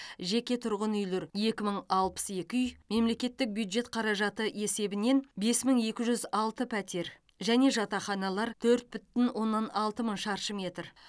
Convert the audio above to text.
жеке тұрғын үйлер екі мың алпыс екі үй мемлекеттік бюджет қаражаты есебінен бес мың екі жүз алты пәтер және жатақханалар төрт бүтін оннан алты мың шаршы метр